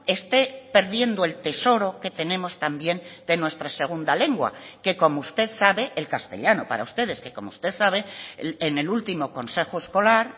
esté perdiendo el tesoro que tenemos también de nuestra segunda lengua que como usted sabe el castellano para ustedes que como usted sabe en el último consejo escolar